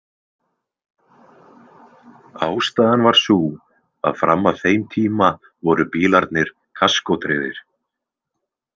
Ástæðan var sú að fram að þeim tíma voru bílarnir kaskótryggðir.